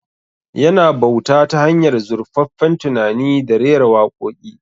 Yana bauta ta hanyar zurfaffen tunani da rera waƙoƙi